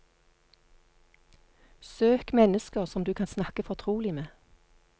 Søk mennesker som du kan snakke fortrolig med.